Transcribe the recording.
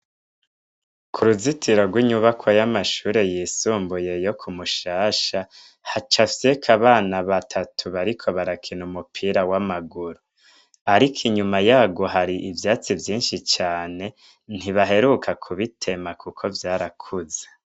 Kuruzitiro rwinyubakwa yamashure yisumbuye yo ku Mushasha hacafyeko abana batatu bariko barakina umupira wamaguru, ariko inyuma yarwo hari ivyatsi vyinshi cane ntibaheruka kubitema kuko vyarakuze.